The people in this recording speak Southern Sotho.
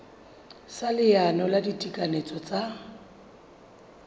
sa leano la ditekanyetso tsa